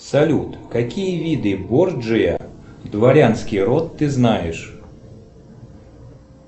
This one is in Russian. салют какие виды борджиа дворянский род ты знаешь